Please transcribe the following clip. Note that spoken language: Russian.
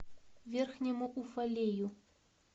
верхнему уфалею